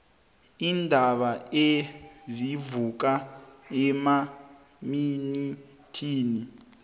iindaba ezivuka emaminithini